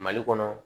Mali kɔnɔ